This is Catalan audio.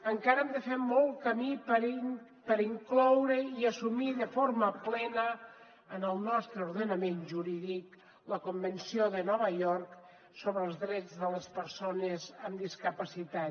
encara hem de fer molt camí per incloure i assumir de forma plena en el nostre ordenament jurídic la convenció de nova york sobre els drets de les persones amb discapacitat